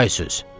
çay süz,